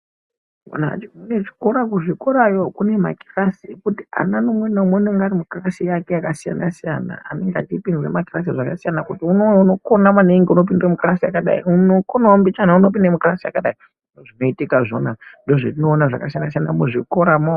Anhu ati kure kune zvikora ku zvikorayo kune makirasi ekuti ana umwe na umwe unenge ari mukirasi yake yaka siyana siyana anenge achi itirwe makirasi zvaka siyana kuti umwe unokona maningi unopinde mu kirasi yakadai uno konawo mbichana unopinde mukirasi yakadai zvinoitika zvona ndo zvetino ona zvaka siyana siyana mu zvikoramo.